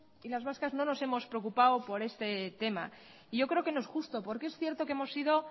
y las vascas no nos hemos preocupado por este tema y yo creo que no es justo porque es cierto que hemos sido